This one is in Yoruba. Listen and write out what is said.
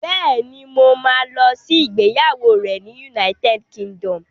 Bẹ́ẹ̀ni, mo ma lọ sí ìgbéyàwó rẹ̀ ní United Kingdom